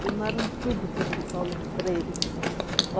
Queimaram tudo que era de Paulo Freire.